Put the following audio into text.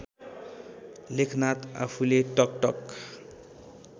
लेखनाथ आफूले टकटक